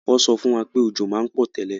Wo so fún wa pé òjò ma n pò tẹ́lẹ̀